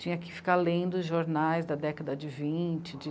Tinha que ficar lendo os jornais da década de vinte, de trinta.